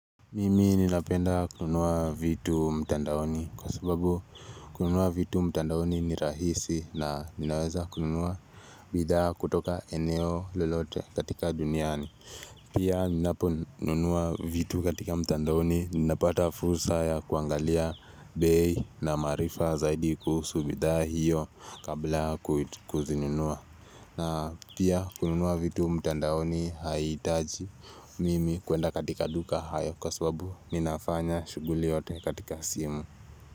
Mimi ninapenda kununua vitu mtandaoni kwa sababu kununua vitu mtandaoni ni rahisi na ninaweza kununua bidhaa kutoka eneo lolote katika duniani Pia ninaponunua vitu katika mtandaoni ninapata fursa ya kuangalia bei na maarifa zaidi kuhusu bidhaa hiyo kabla kuzinunua na pia kununua vitu mtandaoni haihitaji mimi kuenda katika duka hayo kwa sababu Ninafanya shughuli yote katika simu.